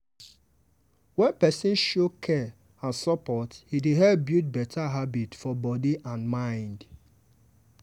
wen partner show care and support e dey help build better habit for body and mind.